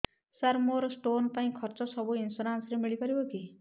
ସାର ମୋର ସ୍ଟୋନ ପାଇଁ ଖର୍ଚ୍ଚ ସବୁ ଇନ୍ସୁରେନ୍ସ ରେ ମିଳି ପାରିବ କି